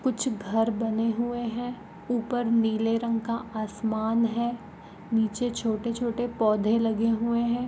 कुछ घर बने हुए हैं ऊपर नीले रंग का आसमान है नीचे छोटे-छोटे पौधे लगे हुए हैं।